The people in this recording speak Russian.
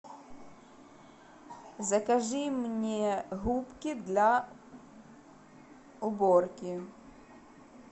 закажи мне губки для уборки